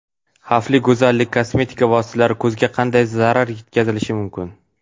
Xavfli go‘zallik: kosmetika vositalari ko‘zga qanday zarar yetkazishi mumkin?.